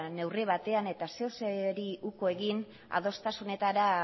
neurri batean eta zerbaiti uko egin adostasunetara